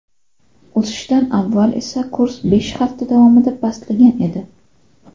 O‘sishdan avval esa kurs besh hafta davomida pastlagan edi.